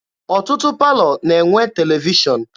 Ọtụtụ palọ na-enwe televishọn.